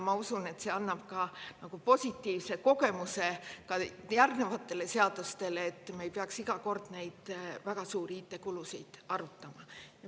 Ma usun, et see annab positiivse kogemuse, järgnevate seaduste puhul, et me ei peaks iga kord väga suuri IT-kulusid arutama.